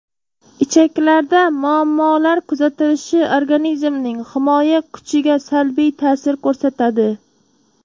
Ichaklarda muammolar kuzatilishi organizmning himoya kuchiga salbiy ta’sir ko‘rsatadi.